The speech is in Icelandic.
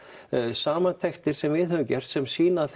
samantektir sem við höfum gert sem sýna að